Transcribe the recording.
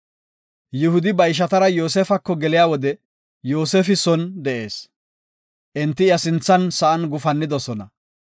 Yihudi ba ishatara Yoosefako geliya wode Yoosefi son de7ees; enti iya sinthan sa7an gufannidosona.